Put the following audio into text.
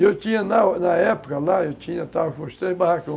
E eu tinha, na na época lá, eu tinha, eu estava com os três barracões.